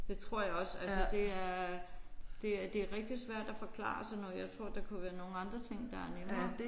Det tror jeg også altså det er det er det er rigtig svært at forklare sådan noget. Jeg tror der kunne være nogle andre ting der er nemmere